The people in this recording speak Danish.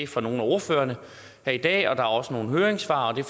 fra nogle af ordførerne her i dag og der er også nogle høringssvar og det